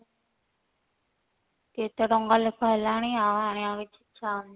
କେତେ ଟଙ୍କା ଲେଖା ହେଲାଣି ଆଉ ଆଣିବାକୁ ଇଛା ହଉନି।